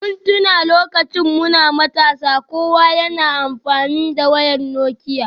Mun tuna lokacin da muke matasa, kowa yana amfani da wayoyin Nokia